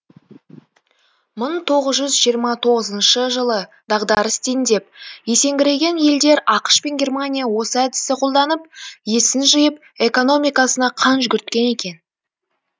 мың тоғыз жүз жиырма тоғызыншы жылы дағдарыс дендеп есеңгіреген елдер ақш пен германия осы әдісті қолданып есін жиып экономикасына қан жүгірткен екен